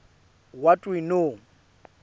what we know